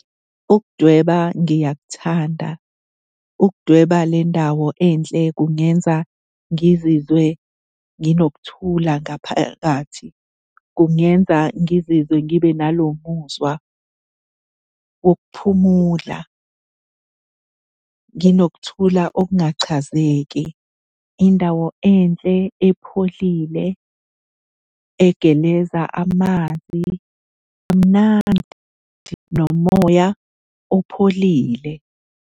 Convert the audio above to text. Ukudweba ngiyakuthanda. Ukudweba le ndawo enhle kungenza ngizizwe nginokuthula ngaphakathi, kungenza ngizizwe ngibe nalo muzwa wokuphumula. Nginokuthola okungachazeki. Indawo enhle epholile, egeleza amanzi amnandi nomoya opholile.